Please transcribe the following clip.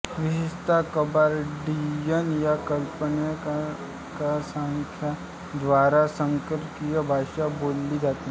विशेषतः कबार्डियन या अल्पसंख्यांकाद्वारा सर्कसियन भाषा बोलली जाते